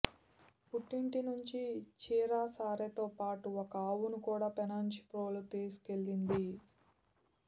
పుట్టింటి నుంచి చీరె సారె తోపాటు ఒక ఆవును కూడా పెనుగంచిప్రోలు తీసుకెళ్లింది